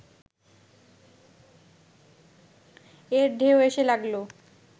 এর ঢেউ এসে লাগল